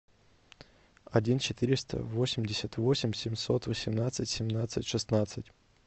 один четыреста восемьдесят восемь семьсот восемнадцать семнадцать шестнадцать